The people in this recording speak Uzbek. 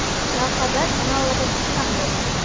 lavhada kanal logotipi ham yo‘q.